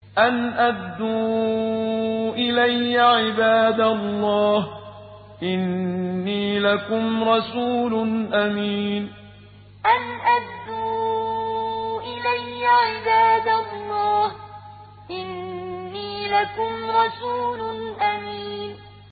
أَنْ أَدُّوا إِلَيَّ عِبَادَ اللَّهِ ۖ إِنِّي لَكُمْ رَسُولٌ أَمِينٌ أَنْ أَدُّوا إِلَيَّ عِبَادَ اللَّهِ ۖ إِنِّي لَكُمْ رَسُولٌ أَمِينٌ